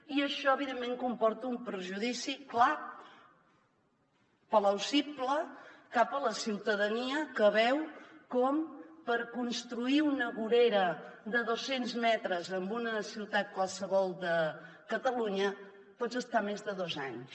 i això evidentment comporta un perjudici clar plausible cap a la ciutadania que veu com per construir una vorera de dos cents metres en una ciutat qualsevol de catalunya pots estar més de dos anys